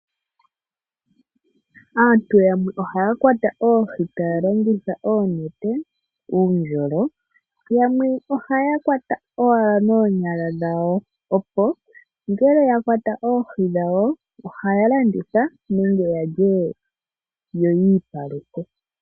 Aantu yamwe ohaya kwata oohi taya longitha oonete, uundjolo yamwe ohaya kwata owala noonyala dhawo opo ngele yakwata oohi dhawo ohaya landitha nenge yalye yoyiipaluke.